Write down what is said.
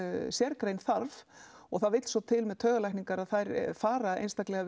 sérgrein þarf og það vill svo til með taugalækningar að þær fara einstaklega